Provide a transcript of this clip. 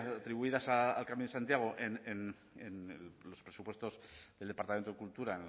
atribuidas al camino de santiago en los presupuestos del departamento de cultura